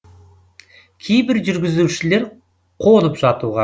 кейбір жүргізушілер қонып жатуға